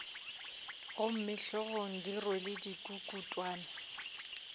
gomme hlogong di rwele dikukutwane